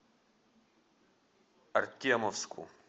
артемовску